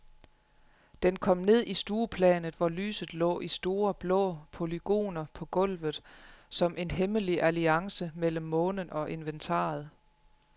Den kom ned i stueplanet, hvor lyset lå i store, blå polygoner på gulvet, som en hemmelig alliance mellem månen og inventaret.